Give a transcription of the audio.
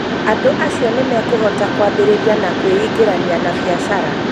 Andũ acio nĩmekũhota kwambĩrĩria na kwĩingĩrania na biacara